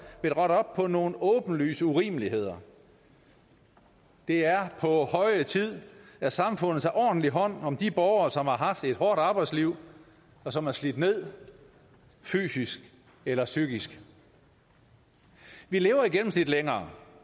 vil rette op på nogle åbenlyse urimeligheder det er på høje tid at samfundet tager ordentlig hånd om de borgere som har haft et hårdt arbejdsliv og som er slidt ned fysisk eller psykisk vi lever i gennemsnit længere